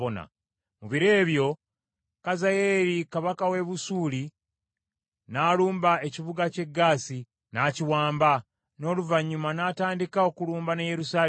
Mu biro ebyo Kazayeeri kabaka w’e Busuuli n’alumba ekibuga ky’e Gaasi, n’akiwamba, n’oluvannyuma n’atandika okulumba n’e Yerusaalemi.